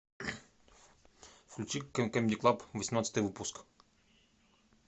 включи камеди клаб восемнадцатый выпуск